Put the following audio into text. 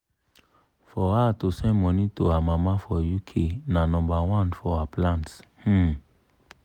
for her to send money to her mama for uk na nomba one for her plans. um